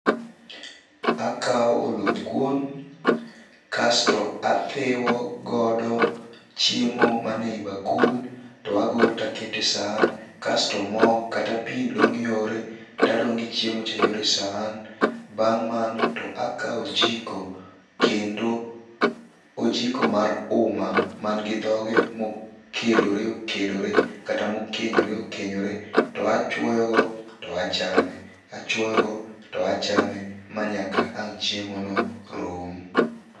Akaw oluth kuon kasto athiwo godo chiemo ma ni eyi bakul to agolo to aketo e sahan. Kasto mo kata pi dong' yore to adong' gi chiemo cha yore e sahan. Bang' mano to akaw ojiko kendo ojiko mar uma man gi dhoge mokedore okedore kata mokenyore okenyore to achwoyo go to achame achwoyo go to achame manyaka ang chiemo no rum.